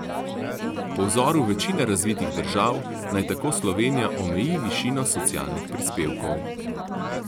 Po vzoru večine razvitih držav naj tako Slovenija omeji višino socialnih prispevkov.